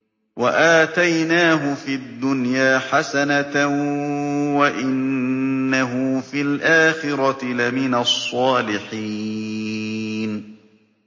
وَآتَيْنَاهُ فِي الدُّنْيَا حَسَنَةً ۖ وَإِنَّهُ فِي الْآخِرَةِ لَمِنَ الصَّالِحِينَ